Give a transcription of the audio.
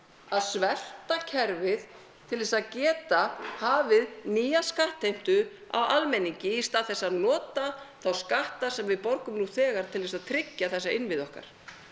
að svelta kerfið til þess að geta hafið nýja skattheimtu á almenningi í stað þess að nota þá skatta sem að við borgum nú þegar til þess að tryggja þessa innviði okkar